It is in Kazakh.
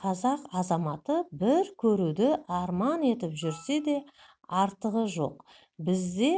қазақ азаматы бір көруді арман етіп жүрсе де артығы жоқ бізде